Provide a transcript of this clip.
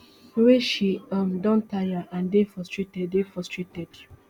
wey she um don taya and dey frustrated dey frustrated